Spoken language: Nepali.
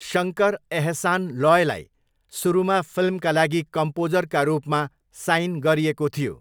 शङ्कर एहसान लोयलाई सुरुमा फिल्मका लागि कम्पोजरका रूपमा साइन गरिएको थियो।